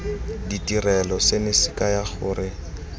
ditirelo seno se kaya gore